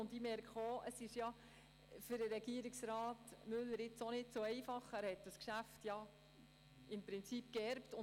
Ich habe gemerkt, dass das Geschäft für Herrn Regierungsrat Müller nicht so einfach ist, da er es im Prinzip geerbt hat.